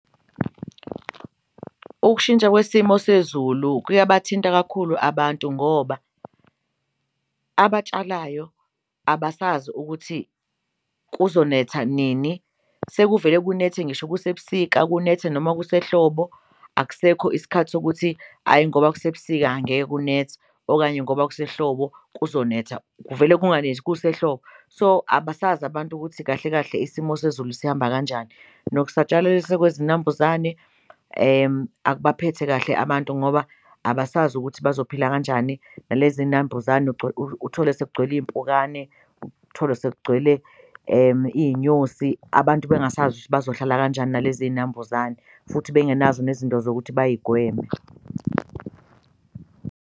Ukushintsha kwesimo sezulu kuyabathinta kakhulu abantu ngoba abatshalayo abasazi ukuthi kuzonetha nini, sekuvele kunethe ngisho kusebusika kunethe noma kusehlobo akusekho isikhathi sokuthi ayi ngoba kusebusika angeke kunethe okanye ngoba kusehlobo kuzonetha, kuvele kunganethi kusehlobo. So, abasazi abantu ukuthi kahle kahle isimo sezulu sihamba kanjani, nokusatshalaliswa kwezinambuzane akubaphethe kahle abantu ngoba abasazi ukuthi bazophila kanjani nalezi nambuzane uthole sekugcwele iy'mpukane, uthole sekugcwele iy'nyosi abantu bengasazi ukuthi bazohlala kanjani nalezi y'nambuzane futhi bengenazo nezinto zokuthi bayigweme.